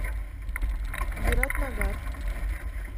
биратнагар